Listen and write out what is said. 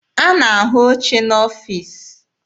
A na-ahụ oche n'ọfiisi.